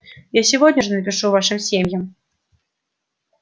я сегодня же напишу вашим семьям